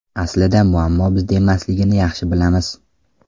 Aslida, muammo bizda emasligini yaxshi bilamiz.